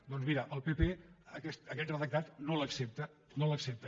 doncs mira el pp aquest redactat no l’accepta no l’accepta